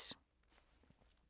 DR1